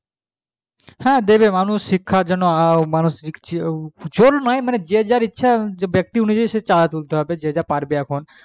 হ্যাঁ দেবে মানুষ শিক্ষার জন্য জোর নয় ব্যাক্তি হিসাবে চাঁদা দিতে হবে যা পারবে এখন